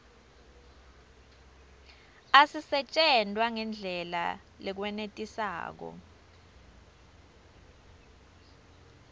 asisetjentwa ngendlela lekwenetisako